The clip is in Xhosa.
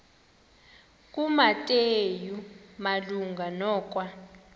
kumateyu malunga nokwa